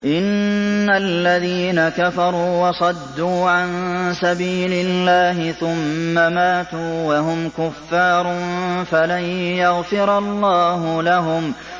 إِنَّ الَّذِينَ كَفَرُوا وَصَدُّوا عَن سَبِيلِ اللَّهِ ثُمَّ مَاتُوا وَهُمْ كُفَّارٌ فَلَن يَغْفِرَ اللَّهُ لَهُمْ